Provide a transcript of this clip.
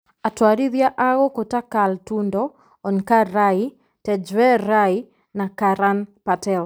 Atwarithia a gũkũ ta Carl Tundo, Onkar Rai, Tejveer Rai na Karan Patel ,